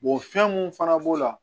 fɛn mun fana b'o la